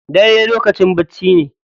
Dare lokacin bacci ne.